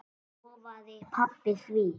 Lofaði pabba því.